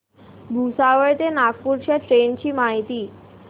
भुसावळ ते नागपूर च्या ट्रेन ची माहिती